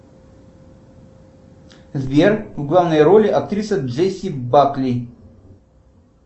сбер в главной роли актриса джесси бакли